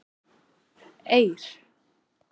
Eir